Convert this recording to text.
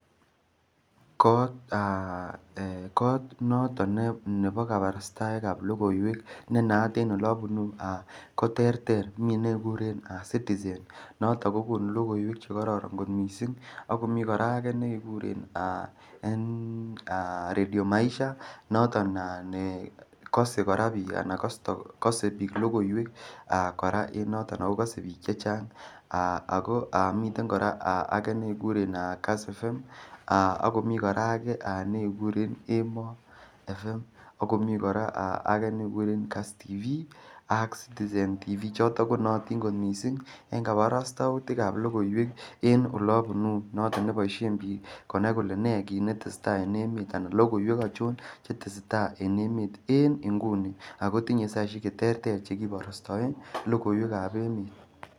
Kot noton nebo kabarastaet ne naat en Ole abunu ko terter miten ne kekuren citizen noton ko konu logoiwek Che kororon kot mising ak komiten ak komiten kora ne kekuren radio maisha noton ne kasei bik kora logoiwek ako kosei bik chechang ago miten kora age ne kekuren Kass fm ago komiten age kora ne kekuren emoo fm ak komii kora age ne kekuren NTV ak citizen tv choton ko nootin kot mising en kabarastautikab logoiwek en Ole abunu noton ngeboisien bik konai kole ne ne tesetai anan logoiwek achon Che tesetai en emet en nguni ago tinye saisiek Che terter Che kiborostoen en logoiwek ab emet